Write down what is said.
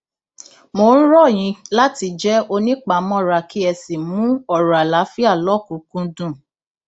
mo ń rọ yín láti jẹ onípamọra kí ẹ sì mú ọrọ àlàáfíà lọkùnúnkúndùn